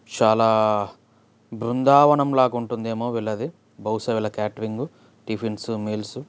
''చాలా బృందావనం లాగ ఉంటుందేమో వీళ్ళది బహుశా వీళ్ళ కేటరింగు టిఫిన్స్ మీల్స్ .''